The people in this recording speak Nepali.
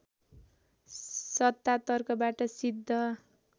सत्ता तर्कबाट सिद्ध